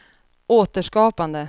återskapande